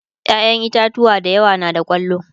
ƴaƴan itatauwa da yawa na da kwallo